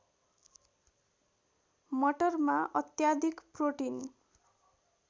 मटरमा अत्याधिक प्रोटिन